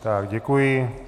Tak děkuji.